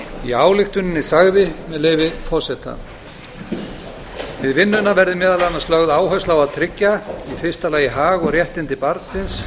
í ályktuninni sagði með leyfi forseta við vinnuna verði meðal annars lögð áhersla á að tryggja í fyrsta lagi hag og réttindi barnsins